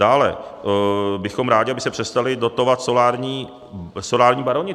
Dále bychom rádi, aby se přestali dotovat solární baroni.